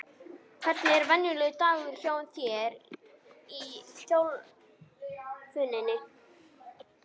Hvernig er venjulegur dagur hjá þér í þjálfuninni?